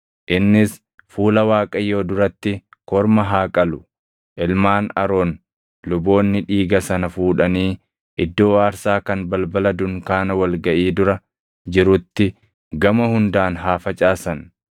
Innis fuula Waaqayyoo duratti korma haa qalu; ilmaan Aroon luboonni dhiiga sana fuudhanii iddoo aarsaa kan balbala dunkaana wal gaʼii dura jirutti gama hundaan haa facaasan.